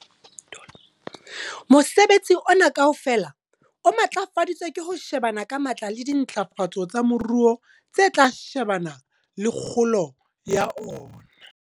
Mosebetsi ona kaofela o matlafaditswe ke ho shebana ka matla le dintlafatso tsa moruo tse tla shebana le kgolo ya ona.